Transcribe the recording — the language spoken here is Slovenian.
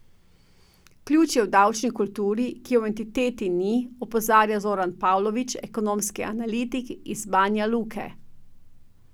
Ključ je v davčni kulturi, ki je v entiteti ni, opozarja Zoran Pavlović, ekonomski analitik iz Banjaluke.